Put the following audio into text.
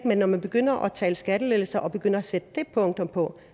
men når man begynder at tale om skattelettelser og begynder at sætte det på